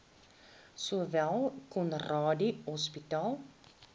sowel conradie hospitaal